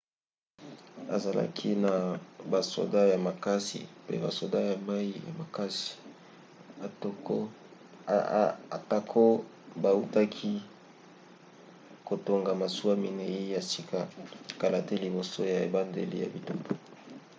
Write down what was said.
azalaki na basoda ya makasi pe basoda ya mai ya makasi atako bautaki kotonga masuwa minei ya sika kala te liboso ya ebandeli ya bitumba